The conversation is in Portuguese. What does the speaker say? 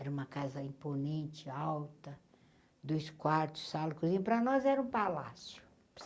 Era uma casa imponente, alta, dois quartos, e para nós era um palácio.